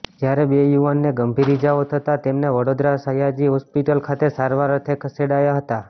જ્યારે બે યુવાનને ગંભીર ઇજાઓ થતાં તેમને વડોદરા સયાજી હોસ્પિટલ ખાતે સારવાર અર્થે ખસેડ્યા હતા